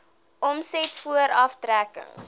omset voor aftrekkings